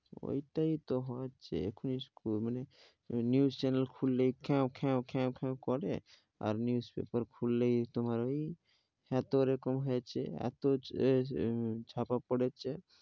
ওটাই তো হচ্ছে, এখুনি মানে news channel খুললে কেঁউ কেঁউ কেঁউ খেউ করে আর newspaper খুললে তোমার ওই, এত করে কম হয়েছে, এত উম ছাপা পড়েছে।